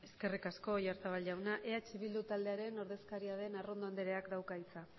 eskerrik asko oyarzabal jauna eh bildu taldearen ordezkaria den arrondo andreak dauka hitza